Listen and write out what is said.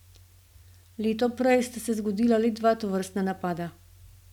Leto prej sta se zgodila le dva tovrstna napada.